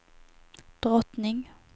drottning